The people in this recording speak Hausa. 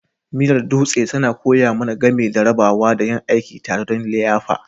Miyar Dutse tana koya mana game da rabawa da yin aiki tare don liyafa.